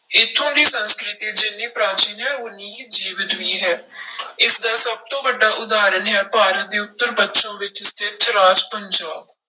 ਇੱਥੋਂ ਦੀ ਸੰਸਕ੍ਰਿਤੀ ਜਿੰਨੀ ਪ੍ਰਾਚੀਨ ਹੈ ਓਨੀ ਹੀ ਜੀਵਤ ਵੀ ਹੈ ਇਸਦਾ ਸਭ ਤੋਂ ਵੱਡਾ ਉਦਾਹਰਨ ਹੈ ਭਾਰਤ ਦੇ ਉੱਤਰ ਪੱਛਮ ਵਿੱਚ ਸਥਿੱਤ ਰਾਜ ਪੰਜਾਬ।